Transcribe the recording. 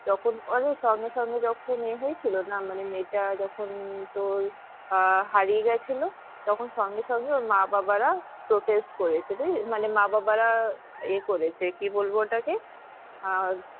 তখন মানে সঙ্গে সঙ্গে যখন ইয়ে হয়েছিল না মানে মেয়েটা যখন তোর আহ হারিয়ে গিয়েছিলো তখন সঙ্গে সঙ্গে ওর মা বাবারা protest করেছে মানে মা বাবারা এ করেছে কি বলবো ওটা কে আহ